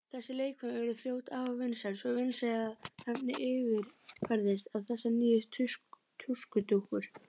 Þessi leikföng urðu fljótt afar vinsæl, svo vinsæl að nafnið yfirfærðist á þessar nýju tuskudúkkur.